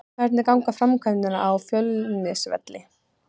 Hvernig ganga framkvæmdirnar á Fjölnisvelli?